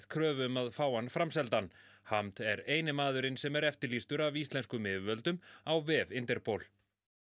kröfu um að fá hann framseldan hamd er eini maðurinn sem er eftirlýstur af íslenskum yfirvöldum á vef Interpol